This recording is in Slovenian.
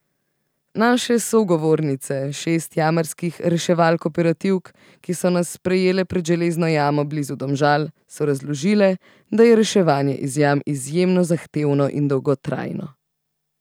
Naše sogovornice, šest jamarskih reševalk operativk, ki so nas sprejele pred Železno jamo blizu Domžal, so razložile, da je reševanje iz jam izjemno zahtevno in dolgotrajno.